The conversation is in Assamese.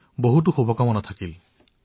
সকলো লোকে নিয়ম পালন কৰিলে দেশো ৰক্ষা পৰিব